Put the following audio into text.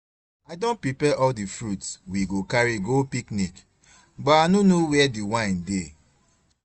Babe I don prepare all the fruits we go carry go picnic but I no know where the wine dey